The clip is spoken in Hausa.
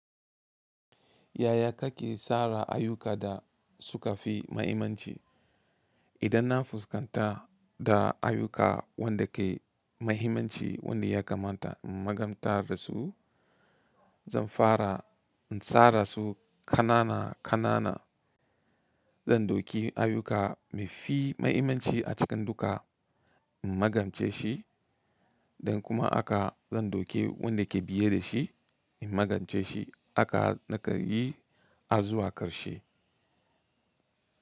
Yaya kake tsara ayuka da suka fi mahimmanci? Idan na fuskanta da ayuka wan da ke mahimmanci wanda ya kamata in magantar da su, zan fara in tsara su kanana kanana. Zan doki ayuka mafi mahimmanci a cikin duka in magance shi, don kuma haka zan doki wanda ke biye da shi in magance shi haka na kai yi har zuwa ƙarshe.